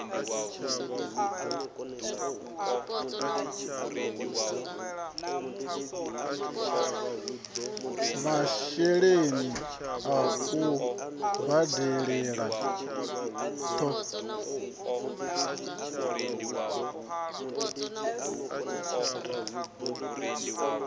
masheleni a u badelela ṱho